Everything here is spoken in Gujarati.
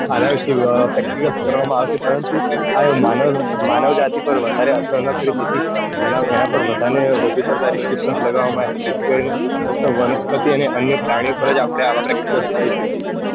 અને વિશે practical કરવામાં આવે છે. પરંતુ માનવજાતિ પર વધારે ના કરીયે તેથી એના પર વધુ પડતા restriction લગાવામાં આવ્યા છે. ફક્ત વનસ્પતિ અને અન્ય પ્રાણીઓ પર જ આવા practicals કરી શકીયે છીએ.